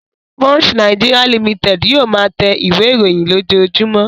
Punch Nigeria Limited yóò máa tẹ ìwé-ìròyìn lójoojúmọ́.